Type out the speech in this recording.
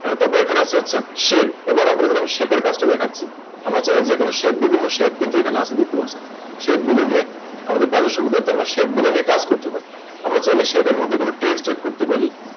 তারপর এখানে আসতে হচ্ছে Shape এবারে আমি Shape এর কাজটা দেখাচ্ছি আমরা চাইলে যে কোন Shape বিভিন্ন ধরনের Shape কিন্তু এখানে আছে Shape গুলো নিয়ে তবে তাদের সুবিধার্থে আমরা Shape গুলো নিয়ে কাজ করতে পারি আমরা চাইলে Shape এর মধ্যে কোন Text add করতে পারি